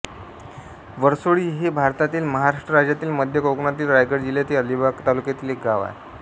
वरसोळी हे भारतातील महाराष्ट्र राज्यातील मध्य कोकणातील रायगड जिल्ह्यातील अलिबाग तालुक्यातील एक गाव आहे